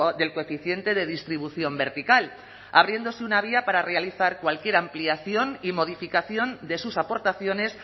del coeficiente de distribución vertical abriéndose una vía para realizar cualquier ampliación y modificación de sus aportaciones